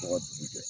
Tɔgɔ dugu jɛ